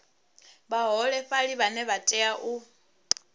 vhaholefhali vhane vha tea u